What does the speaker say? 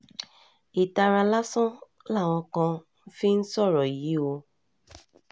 ìtara lásán làwọn kan fi ń sọ̀rọ̀ yìí o